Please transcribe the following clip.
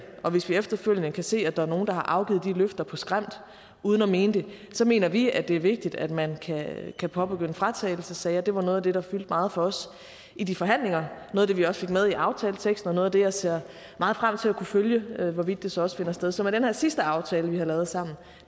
og hvis vi efterfølgende kan se at der er nogle der har afgivet de løfter på skrømt uden at mene det så mener vi at det er vigtigt at man kan påbegynde fratagelsessager det var noget af det der fyldte meget for os i de forhandlinger noget af det vi også fik med i aftaleteksten og noget af det jeg ser meget frem til at kunne følge hvorvidt så også finder sted så med den her sidste aftale vi har lavet sammen